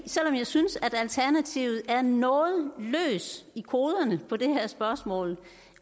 selv om jeg synes at alternativet er noget løs i koderne på det her spørgsmål